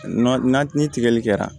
Na ni tigɛli kɛra